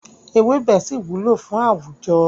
Ewébẹ̀ ṣì wúlò fún àwùjọ.